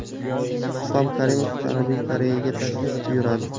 Islom Karimov Janubiy Koreyaga tashrif buyuradi.